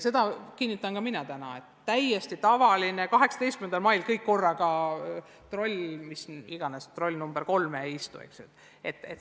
Seda kinnitan ka mina, et 18. mail kõik korraga trolli nr 3 ei istu.